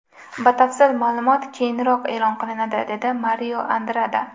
Batafsil ma’lumot keyinroq e’lon qilinadi”, – dedi Mario Andrada.